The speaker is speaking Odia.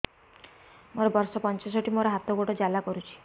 ମୋର ବର୍ଷ ପଞ୍ଚଷଠି ମୋର ହାତ ଗୋଡ଼ ଜାଲା କରୁଛି